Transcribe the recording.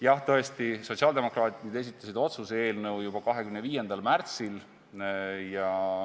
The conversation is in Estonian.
Jah, tõesti, sotsiaaldemokraadid esitasid otsuse eelnõu juba 25. märtsil.